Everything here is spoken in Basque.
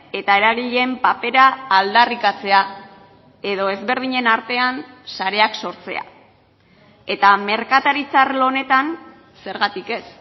eta eragileen papera aldarrikatzea edo ezberdinen artean sareak sortzea eta merkataritza arlo honetan zergatik ez